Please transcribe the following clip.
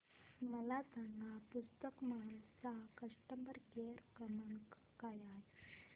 मला सांगा पुस्तक महल चा कस्टमर केअर क्रमांक काय आहे